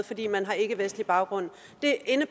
fordi man har ikkevestlig baggrund